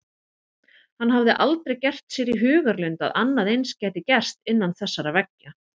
Hann hafði aldrei gert sér í hugarlund að annað eins gæti gerst innan þessara veggja.